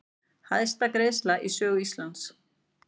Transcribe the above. Hæsta greiðsla í sögu Íslands